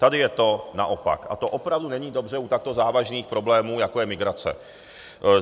Tady je to naopak a to opravdu není dobře u takto závažných problémů, jako je migrace.